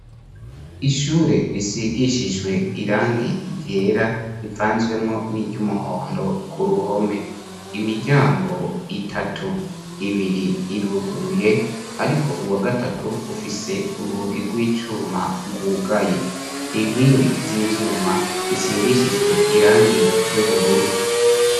Ishure risigishijwe irangi ryera, rivanzwemwo niry'umuhondo kuruhome, imiryango itatu ibiri iruguruye ariko uwa gatatu ufise urugi rw'icuma rwugaye, inkingi z'ivyuma risigishijwe irangi ry'ubururu.